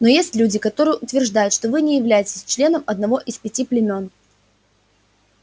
но есть люди которые утверждают что вы не являетесь членом одного из пяти племён